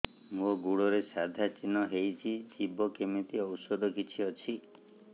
ମୋ ଗୁଡ଼ରେ ସାଧା ଚିହ୍ନ ହେଇଚି ଯିବ କେମିତି ଔଷଧ କିଛି ଅଛି